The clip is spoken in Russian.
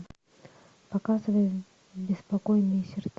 показывай беспокойные сердца